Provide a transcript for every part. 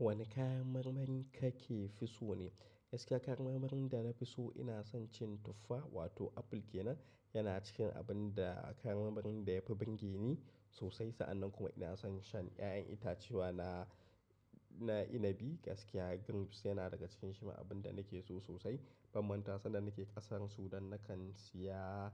Wane kayan marmarin kake fi so ne? Gaskiya kayan marmarin da na fi so ina son cin tuffa wato apple kenan yana cikin abun da kayan marmarin da yafi bingeni sosai. Sa'annan kuma ina son shan ƴaƴan itace wa na, na inabi gaskiya grapes yana daga cikin shi ma abun da nake so sosai. Ban manta san da nake ƙasar Sudan nakan siya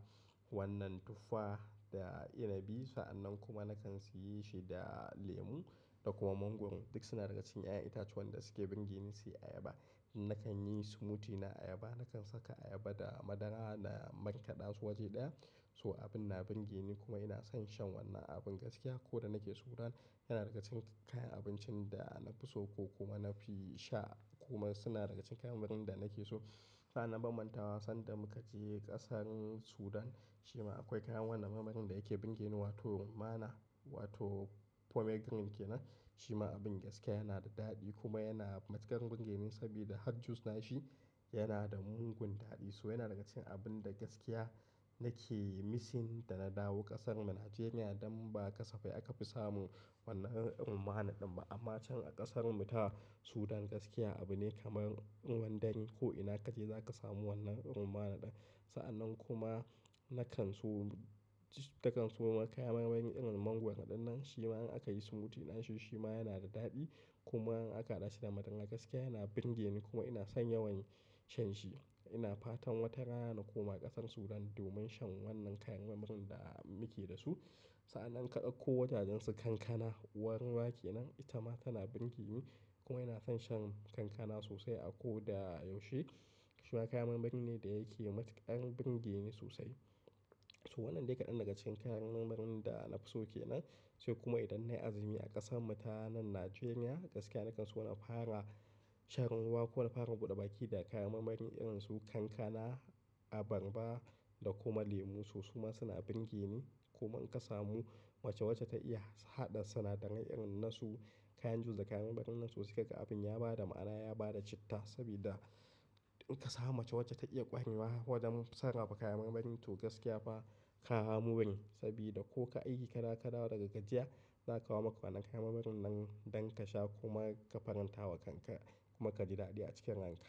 wannan tuffa da inabi. Sa'annan kuma nakan siyi shi da lemu da kuma mango duk suna daga cikin ƴaƴan itacen da suke burgeni sai ayaba. Nakan yi smoothie na ayaba, nakan saka ayaba da madara na marƙaɗa su waje ɗaya. So abin na bingeni kuma ina son shan wannan abin gaskiya. Ko da nake Sudan yana daga cikin kayan abincin da na fi so ko kuma na fi sha kuma suna daga cikin kayan marmarin da nake so. A na ban mantawa sanda muka je ƙasar Sudan shima akwai kayan wannan marmarin da yake bingeni wato mana wato pomegranate kenan. Shima abin gaskiya yana da daɗi kuma yana matuƙar bingeni sabida hot juice na shi yana da mugun daɗi. So yana daga cikin abun da gaskiya nake missing da na dawo ƙasar Nijeriya don ba kasafai aka fi samun wannan irin mana ɗin ba. Amma can a ƙasan mu ta Sudan gaskiya abu ne kamar ruwan dare ko ina kaje zaka samu wannan irin mana ɗin. Sa'annan kuma nakan so, nakan so kayan marmarin irin mangoro ɗinnan shima in aka yi smoothie na shi shima yana da daɗi. Kuma in aka hada shi da madara gaskiya yana bingeni kuma ina son yawan shan shi. Ina fatan wata rana na koma ƙasar Sudan domin shan wannan kayan marmarin da muke da su. Sa'annan kadakko wajajensu kankana uwar ruwa kenan ita ma tana burgeni kuma ina son shan kankana sosai a ko da yaushe. Shima kayan marmari ne da yake matuƙar bingeni sosai. So wannan dai kaɗan daga cikin kayan marmarin da na fi so kenan. Sai kuma idan na yi azumi a ƙasan mu ta nan Nijeriya gaskiya nakan so na fara shan ruwa ko na fara buɗe baki da kayan marmari irin su kankana, abarba da kuma lemu. So, su ma suna bingeni. Kuma in ka samu mace wacce ta iya haɗa sinadaran irin na su kayan juice da kayan marmarin nan sosai zaka ga abin ya bada ma'ana ya bada citta. Sabida in ka samu mace wacce ta iya ƙwarewa wajen sarrafa kayan marmari to gaskiya fa ka more, sabida ko kayi aiki ka da ka dawo daga gajiya za a kawo maka kayan marmarin nan don ka sha kuma ka faranta wa kanka kuma ka ji daɗi a cikin ranka.